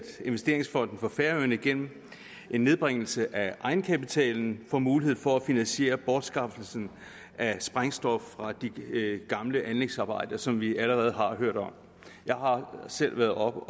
investeringsfonden for færøerne igennem en nedbringelse af egenkapitalen får mulighed for at finansiere bortskaffelsen af sprængstof fra de gamle anlægsarbejder som vi allerede har hørt om jeg har selv været oppe